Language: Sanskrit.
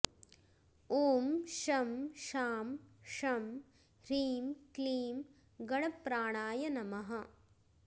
ॐ शं शां षं ह्रीं क्लीं गणप्राणाय नमः